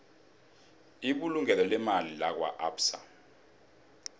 ibulungo leemali lakwaabsa